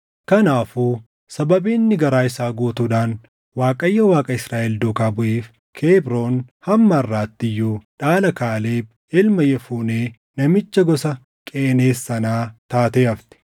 Kanaafuu sababii inni garaa isaa guutuudhaan Waaqayyo Waaqa Israaʼel duukaa buʼeef Kebroon hamma harʼaatti iyyuu dhaala Kaaleb ilma Yefunee namicha gosa Qeneez sanaa taatee hafte.